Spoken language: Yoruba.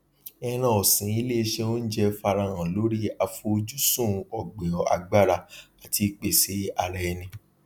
ẹran ọsin ilé iṣẹ ounjẹ farahàn lórí afojusun ọgbìn agbára àti ìpèsè ara ẹni